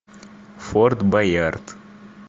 форт боярд